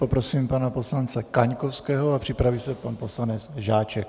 Poprosím pana poslance Kaňkovského a připraví se pan poslanec Žáček.